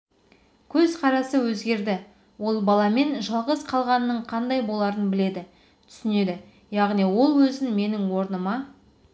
көзқарасы өзгерді ол баламен жалғыз қалғанның қандай боларын біледі түсінеді яғни ол өзін менің орныма